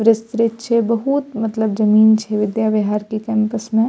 विस्तृत छै बहुत मतलब जमीन छै विद्या बिहार के कैंपस में।